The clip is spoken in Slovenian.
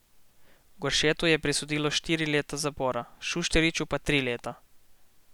Goršetu je prisodilo štiri leta zapora, Šušteršiču pa tri leta.